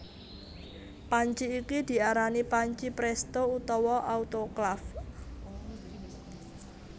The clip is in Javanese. Panci iki diarani panci prèsto utawa autoklaf